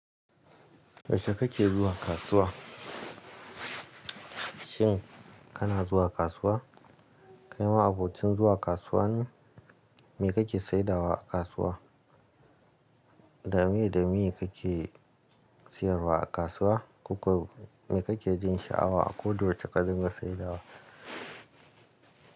Yaushe kake zuwa kasuwa? Shin kana zuwa kasuwa? Kai ma abocin zuwa kasuwa ne? Me kake saidawa a kasuwa? Da me da me kake siyarwa a kasuwa? Koko me kake jin sha'awa a kodayaushe ka dinga saidawa?